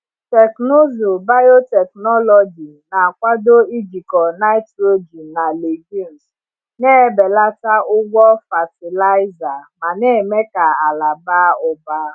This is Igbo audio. Teknụzụ biotechnology na-akwado ijikọ nitrogen na legumes, na-ebelata ụgwọ fatịlaịza ma na-eme ka ala baa ụba.